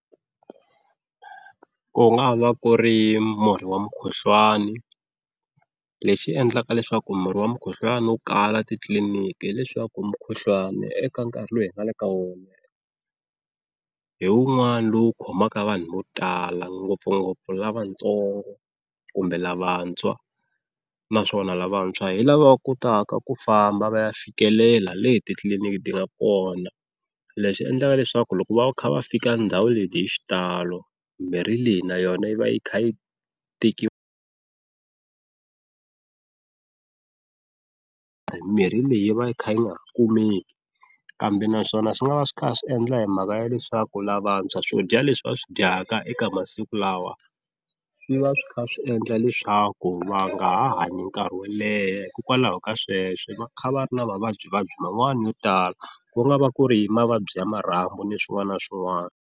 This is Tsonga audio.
Ku nga va ku ri murhi wa mukhuhlwani lexi endlaka leswaku murhi wa mukhuhlwana wu kala titliliniki hileswaku mukhuhlwani eka nkarhi lowu hi nga le ka wona hi wun'wana lowu khomaka vanhu vo tala ngopfungopfu lavatsongo kumbe lavantshwa, naswona lavantshwa hi lava va kotaka ku famba va ya fikelela le titliliniki ti nga kona lexi endlaka leswaku loko va kha va fika ndhawu leti hi xitalo mimirhi leyi na yona yi va yi kha yi mirhi leyi yi va yi kha ni nga kumeki, kambe naswona swi nga va swi kha swi endla hi mhaka ya leswaku lavantshwa swo dya leswi va swi dyaka eka masiku lawa swi va swi kha swi endla leswaku va nga ha hanyi nkarhi wo leha hikokwalaho ka sweswo va kha va ri na mavabyivabyi man'wani yo tala ku nga va ku ri hi mavabyi ya marhambu ni swin'wana na swin'wana.